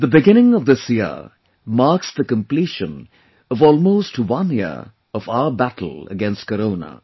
the beginning of this year marks the completion of almost one year of our battle against Corona